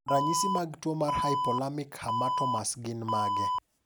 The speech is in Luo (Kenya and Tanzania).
Ranyisi mag tuo mar Hypothalamic hamartomas gin mage?